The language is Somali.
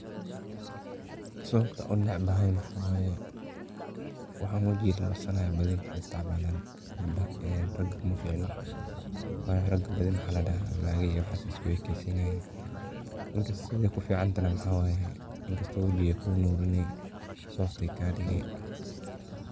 Sababta aan u necbahay waxaa waaye wxan wajiga lamarsanayo badi mxa istcmaalan gabdaha ee raga umaficno waayo badi raga maxa ladaha naga iyo waxas ay isku ekeysinayin danka siday ku ficanta ne mxe waaye inkasto wajige kuu nurine soft ay kaagadige.